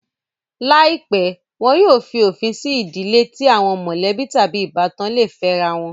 Láìpẹ́, wọn yóò fí òfin sí ìdílé tí àwọn mọ̀lẹ́bí tàbí ìbátan le fẹ́rá wọn